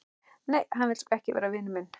Nei, hann vill sko ekki vera vinur minn.